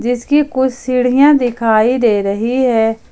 इसके कुछ सीढ़ियां दिखाई दे रही हैं।